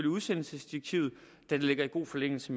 udsendelsesdirektivet da det ligger i god forlængelse